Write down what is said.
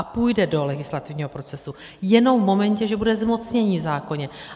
A půjde do legislativního procesu jenom v momentě, že bude zmocnění v zákoně.